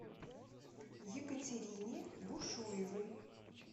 екатерине бушуевой